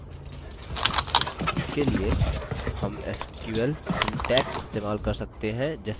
इसके लिए हम sql syntax इस्तेमाल कर सकते हैं जैसे कि: